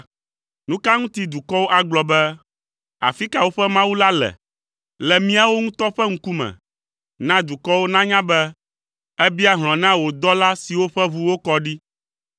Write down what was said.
Nu ka ŋuti dukɔwo agblɔ be, “Afi ka woƒe Mawu la le?” Le míawo ŋutɔ ƒe ŋkume, na dukɔwo nanya be, èbia hlɔ̃ na wò dɔla siwo ƒe ʋu wokɔ ɖi.